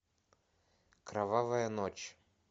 кровавая ночь